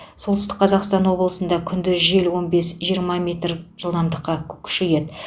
солтүстік қазақстан облысында күндіз жел он бес жиырма метр күшейеді